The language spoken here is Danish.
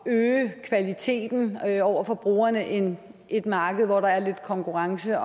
at øge kvaliteten over for brugerne end et marked hvor der er lidt konkurrence